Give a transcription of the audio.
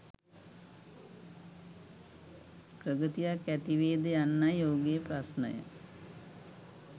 ප්‍රගතියක් ඇතිවේද යන්නයි ඔහුගේ ප්‍රශ්නය